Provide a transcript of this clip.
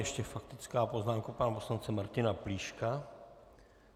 Ještě faktická poznámka pana poslance Martina Plíška.